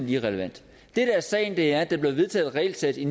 irrelevant det der er sagen er at der blev vedtaget et regelsæt i